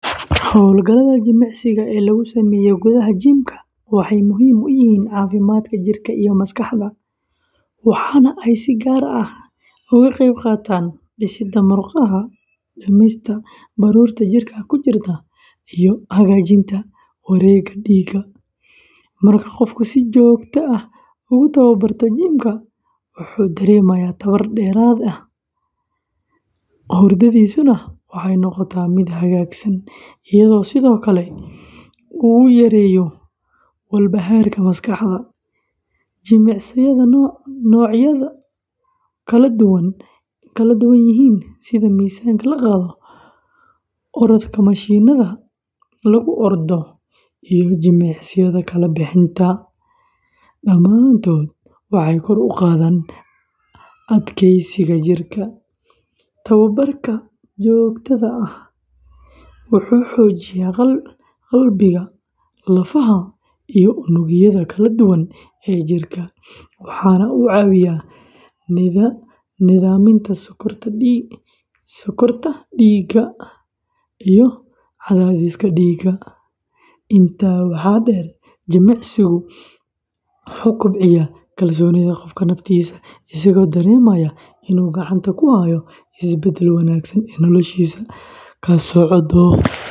Hawlgallada jimicsiga ee lagu sameeyo gudaha jimka waxay muhiim u yihiin caafimaadka jirka iyo maskaxda, waxaana ay si gaar ah uga qayb qaataan dhisidda murqaha, dhimista baruurta jirka ku jirta, iyo hagaajinta wareegga dhiigga. Marka qofku si joogto ah ugu tababarto jimka, wuxuu dareemayaa tamar dheeraad ah, hurdadiisuna waxay noqotaa mid hagaagsan, iyadoo sidoo kale uu yareeyo walbahaarka maskaxda. Jimicsiyada noocyadoodu kala duwan yihiin sida miisaanka la qaado, orodka mashiinnada lagu ordo, iyo jimicsiyada kala bixinta, dhammaantood waxay kor u qaadaan adkeysiga jidhka. Tababarka joogtada ah wuxuu xoojiyaa qalbiga, lafaha, iyo unugyada kala duwan ee jirka, waxaana uu caawiyaa nidaaminta sokorta dhiigga iyo cadaadiska dhiigga. Intaa waxaa dheer, jimicsigu wuxuu kobciyaa kalsoonida qofka naftiisa, isagoo dareemaya inuu gacanta ku hayo isbeddel wanaagsan oo noloshiisa ka socda.